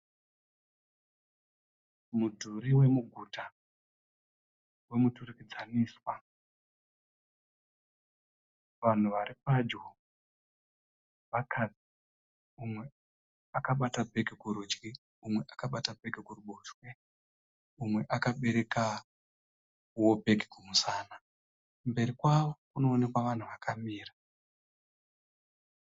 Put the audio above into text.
Mudhuri wemuguta wemuturikidzaniswa. Vanhu vari padyo vakadzi. Umwe akabata bhegi kurudyi umwe akabata bhegi kuruboshwe umwe akaberekao bhegi kumusana. Mberi kwavo kunoonekwa vanhu vakamira.